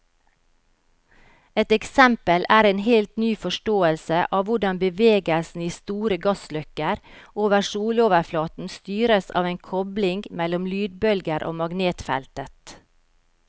Et eksempel er en helt ny forståelse av hvordan bevegelsen i store gassløkker over soloverflaten styres av en kobling mellom lydbølger og magnetfeltet.